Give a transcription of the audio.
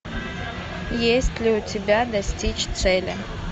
есть ли у тебя достичь цели